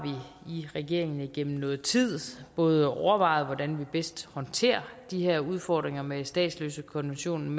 vi i regeringen gennem noget tid både overvejet hvordan vi bedst håndterer de her udfordringer med statsløsekonventionen